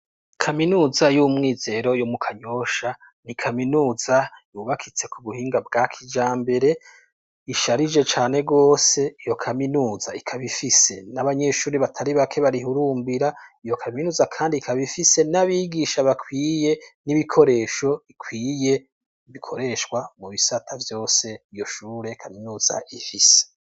Kaminuza y'umwizero yo mu kanyosha ni ikaminuza yubakitse ku buhinga bwa kija mbere isharije cane rwose iyo kaminuza ikabifise n'abanyeshuri batari bake barihurumbira iyo kaminuza, kandi ikabifise n'abigisha bakwiye n'ibikoresho ikwiye ibikoreshwa mu bisata vyose yoshure kaminuza efisi.